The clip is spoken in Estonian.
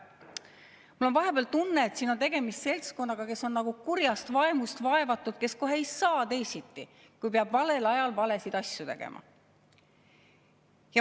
Mul on vahepeal tunne, et siin on tegemist seltskonnaga, kes on nagu kurjast vaimust vaevatud, kes kohe ei saa teisiti, kui peab valel ajal valesid asju tegema.